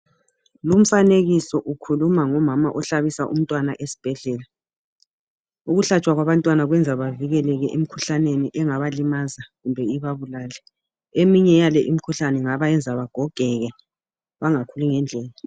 Lumfanekiso ukhuluma ngomama ohlabisa umntwana esbhedlela, ukuhlatshwa kwabantwana kwenza bavikeleke emikhuhlaneni engabalimaza kumbe ibabulale. Eminye yale imikhuhlane ingabayenza bagogeke bangakhuli ngendlela.